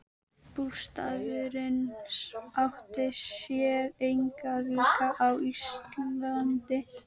Bústaðurinn átti sér engan líka á Íslandi.